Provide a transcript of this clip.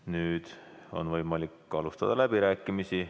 Nüüd on võimalik alustada läbirääkimisi.